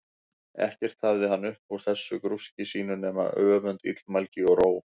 Ekkert hafði hann upp úr þessu grúski sínu nema öfund, illmælgi, og róg.